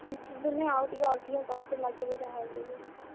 ଶୀତ ଦିନେ ଆଉ ଟିକେ ଅଧିକା କଷ୍ଟ ଲାଗିବ ଯାହା ବି ହେଲେ।